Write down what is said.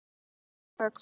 LÁRUS: Þögn!